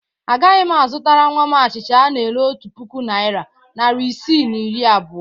Agaghị m azụtara nnwa m achịcha ana-ere otu puku naịra, narị isii na iri abụọ.